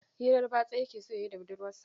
Hirar batsa yake so ya yi da budurwarsa.